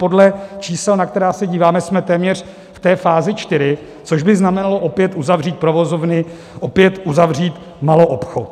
Podle čísel, na která se díváme, jsme téměř v té fázi čtyři, což by znamenalo opět uzavřít provozovny, opět uzavřít maloobchod.